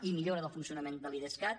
i millora del funcionament de l’idescat